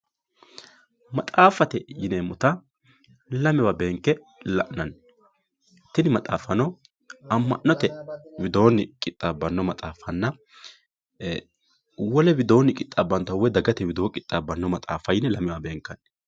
maxaaffate yineemmota lamewa beenke la'nanni tini maxaaffano amma'note widoonni qixxabbanno maxxaffanna wole widoonni qixxaabbannota woy dagate widoonni qixxaabbannota yine lamewa beenkanni